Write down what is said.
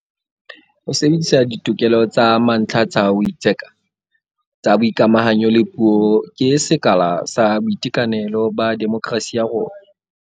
Ho sebedisa ditokelo tsa mantlha tsa ho itseka, tsa boikamahanyo le puo ke sekala sa boitekanelo ba demokerasi ya rona.